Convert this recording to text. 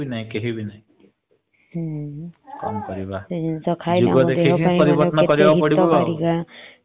କେହିବି ନାହି କେହିବି ନାହି। କଣ କରିବା ଯୁଗ ଦେଖିକି ପରିବର୍ତନ କରିବାକୁ ପଡିବ।